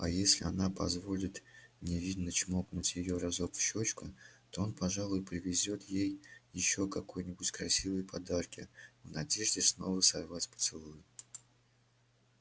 а если она позволит невинно чмокнуть её разок в щёчку то он пожалуй привезёт ей ещё какой-нибудь красивые подарки в надежде снова сорвать поцелуй